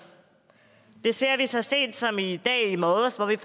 det så vi så sent som i morges hvor vi